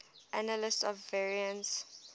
analysis of variance